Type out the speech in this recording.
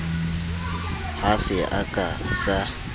ha se a ka sa